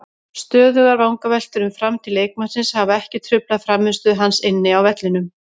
Stöðugar vangaveltur um framtíð leikmannsins hafa ekki truflað frammistöðu hans inni á vellinum.